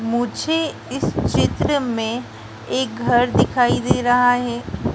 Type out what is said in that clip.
मुझे इस चित्र में एक घर दिखाई दे रहा है।